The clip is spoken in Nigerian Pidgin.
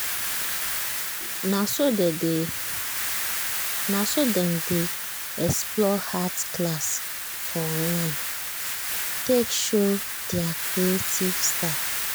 na so dem dey explore art class for online take show their creative style.